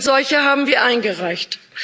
Und solche haben wir eingereicht.